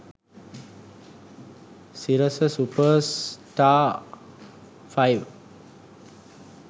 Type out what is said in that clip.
sirasa supers star 5